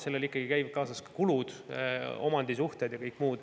Sellega käivad ikkagi kaasas kulud, omandisuhted ja kõik muu.